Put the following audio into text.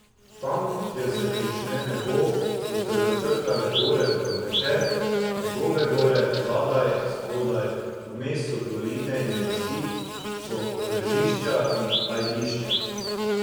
Tam, kjer se prične nebo, so se začrtale gore v večer, njegove gore, zadaj, spodaj, vmes so doline in vasi, so ržišča in ajdišča.